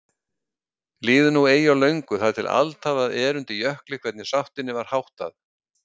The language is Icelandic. Líður nú eigi á löngu þar til altalað er undir Jökli hvernig sáttinni var háttað.